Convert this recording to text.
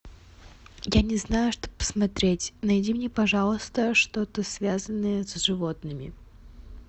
я не знаю что посмотреть найди мне пожалуйста что то связанное с животными